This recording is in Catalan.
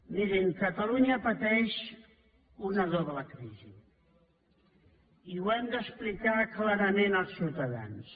mirin catalunya pateix una doble crisi i ho hem d’explicar clarament als ciutadans